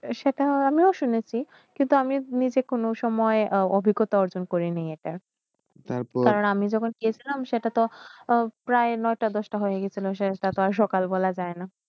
সেইটা আমিও শুনেয়সী কিন্তু নিজে কোন সময় অভিজ্ঞতা অর্জন কড়েনেই তারপর আমি যখন গেসিলাম সেইয়তাত প্রায় নয়টা দশটা হইয়ে গেশে তার্ত আর সকাল বেলা যায় না